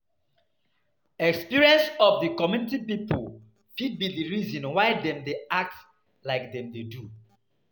Experience of di community pipo fit be the reason why dem dey act like dem dey do